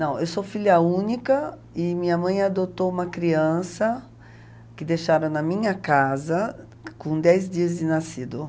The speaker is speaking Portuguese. Não, eu sou filha única e minha mãe adotou uma criança que deixaram na minha casa com dez dias de nascido.